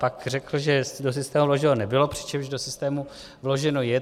Pak řekl, že do systému vloženo nebylo, přičemž do systému vloženo je.